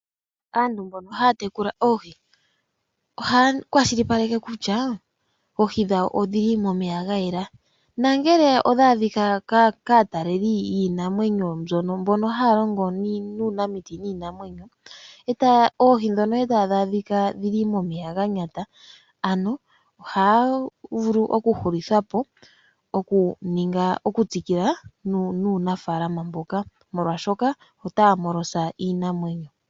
Aantu mbono haya tekula oohi oha ya kwashilipaleke kutya oohi dhawo odhili momeya ga yela nangele odha adhika kaataleli yiinamwenyo mbono haya longo nuunamiti niinamweyo oohi ndhono e tadhi adhika dhili momeya ga nyata ano oha ga vulu okuhulithwapo okutsikila nuunafalama mboka molwashoka ota ya hepeke iinamwenyo.